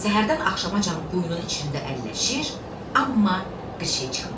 Səhərdən axşamacan quyunun içində əlləşir, amma bir şey çıxmırdı.